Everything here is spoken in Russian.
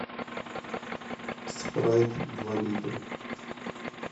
спрайт два литра